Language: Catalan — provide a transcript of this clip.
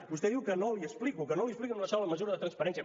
vostè diu que no l’hi explico que no li explico ni una sola mesura de transparència